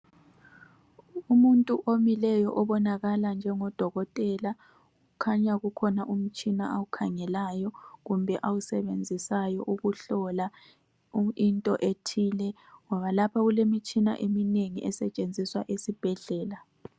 Umuntu omileyo obonakala njengo dokotela kukhanya kukhona umtshina awukhangelayo kumbe awusebenzisayo ukuhlola into ethile ngoba lapha kulemitshina eminengi esetshenziswa esibhedlela.